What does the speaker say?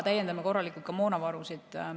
Täiendame korralikult ka moonavarusid.